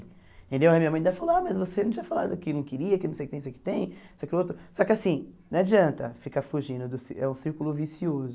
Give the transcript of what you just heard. Entendeu a minha mãe ainda falou, ah mas você não tinha falado que não queria, que não sei o que não sei que tem, só que assim, não adianta ficar fugindo do ci, é um círculo vicioso.